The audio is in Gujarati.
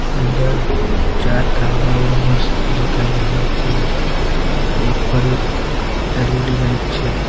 અંદર ચાર થાંભલાઓ મસ્ત દેખાય રહ્યા છે ઉપર એક એલ_ઇ_ડી લાઈટ છે.